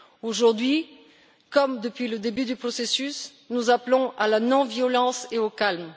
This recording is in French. Aujourd'hui, comme depuis le début du processus, nous appelons à la non violence et au calme.